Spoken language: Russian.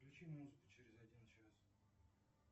включи музыку через один час